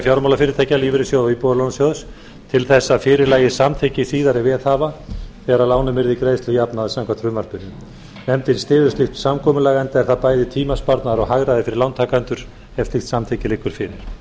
fjármálafyrirtækja lífeyrissjóða og íbúðalánasjóðs til þess að fyrir lægi samþykki síðari veðhafa þegar lánum yrði greiðslujafnað samkvæmt frumvarpinu nefndin styður slíkt samkomulag enda er það bæði tímasparnaður og hagræði fyrir lántakendur ef slíkt samþykki liggur fyrir